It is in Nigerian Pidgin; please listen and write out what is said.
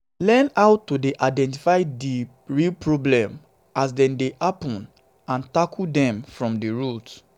learn how to identify di real problem as dem dey happen dem dey happen and tackle dem from di root